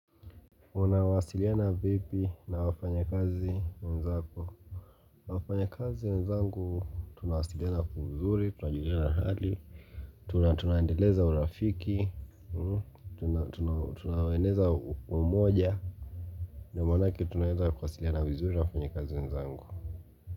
Unawasiliana vipi na wafanyakazi wenzako wafanyakazi wenzangu tunawasiliana kwa uzuri tunajuliana hali tunaendeleza urafiki tunaueneza umoja ndiyo maanake tunaweza kuwasiliana vizuri na wafanyakazi wenzangu.